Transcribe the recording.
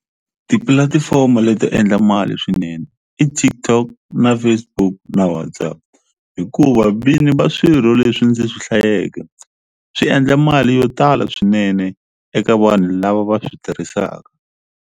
Tipulatifomo leti endla mali swinene i TikTok na Facebook na WhatsApp hikuva vini va swirho leswi ndzi swi hlayeke swi endla mali yo tala swinene eka vanhu lava va swi tirhisaka.